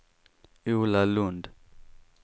Ola Lund